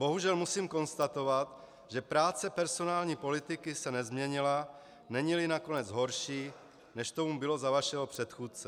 Bohužel musím konstatovat, že práce personální politiky se nezměnila, není-li nakonec horší, než tomu bylo za vašeho předchůdce.